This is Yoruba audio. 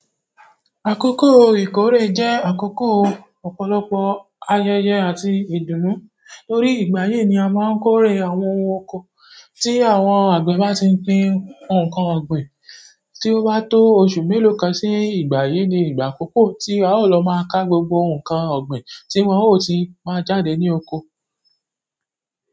Àkókò ìkórè jẹ́ àkókò ọ̀pọ̀lọpọ̀ ayẹyẹ àti ìdùnnú. Torí ìgbáyii ni a máa ń kórè àwọn ohun oko tí àwọn àgbe bá ti gbin nǹkan ọ̀gbìn. Tí ó bá tó ọ̀su mélòó kan sí ìgbà yìí ni ìgbà àkókò tí a ó lọ máa ka gbogbo nǹkan ọ̀gbìn tí wọn ó ti máa jáde ní oko.